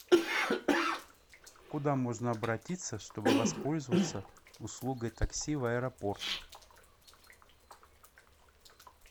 куда можно обратиться чтобы воспользоваться услугой такси в аэропорт